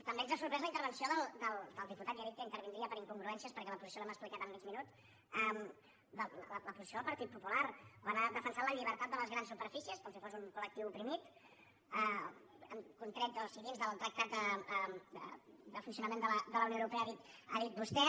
també ens ha sorprès la intervenció del diputat ja he dit que intervindria per incongruències perquè la posi·ció l’hem explicat amb mig minut la posició del par·tit popular quan ha defensat la llibertat de les grans superfícies com si fos un col·lectiu oprimit han con·tret dins del tractat de funcionament de la unió euro·pea ha dit vostè